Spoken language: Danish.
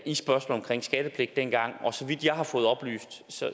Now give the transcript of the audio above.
i spørgsmålet om skattepligt dengang og så vidt jeg har fået oplyst